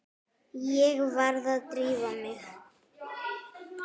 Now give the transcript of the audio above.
Ég varð að drífa mig.